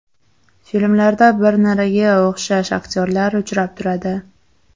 Filmlarda bir-niriga o‘xshash aktyorlar uchrab turadi.